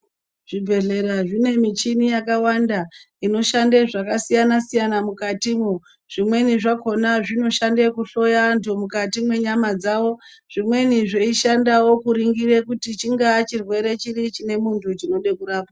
Zvibhedhlera zvine michini yakawanda inoshande zvakasiyana siyana mukatimwo zvimweni zvakhona zvinoshande kuhloya anthu mukati mwenyama dzawo zvimweni zveishandawo kuningire kuti chingaa chirwere chiri chine munthu chinode kurapwa.